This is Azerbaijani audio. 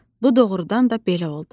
Bu doğrudan da belə oldu.